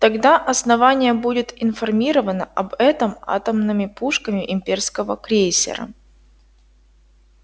тогда основание будет информировано об этом атомными пушками имперского крейсера